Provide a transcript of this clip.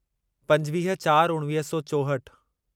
पंजवीह चार उणिवीह सौ चोहठि